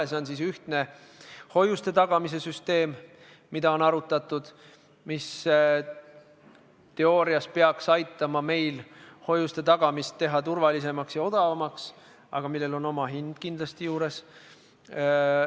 Näiteks on arutatud ühtset hoiuste tagamise süsteemi, mis teoorias peaks aitama meil teha hoiuste tagamist turvalisemaks ja odavamaks, aga sellel on oma hind kindlasti juures.